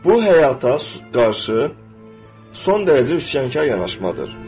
Bu həyata qarşı son dərəcə üsyankar yanaşmadır.